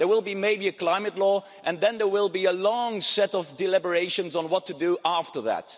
There will maybe be a climate law and then there will be a long set of deliberations on what to do after that.